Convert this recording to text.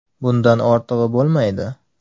Bundan ortig‘i bo‘lmaydi.